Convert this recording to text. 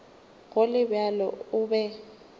go le bjalo o be